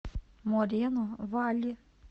морено валли